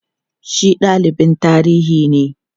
shi dalibin tarihinne